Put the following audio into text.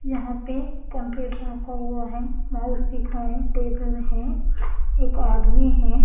यहां पे कंप्यूटर रखा हुआ है माउस दिख रहा है टेबल है एक आदमी है।